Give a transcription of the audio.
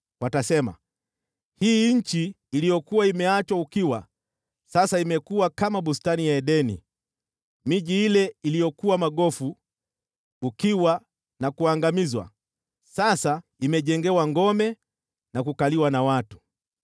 Watasema, “Hii nchi iliyokuwa imeachwa ukiwa sasa imekuwa kama bustani ya Edeni, miji ile iliyokuwa magofu, ukiwa na kuangamizwa, sasa imejengewa ngome na kukaliwa na watu.”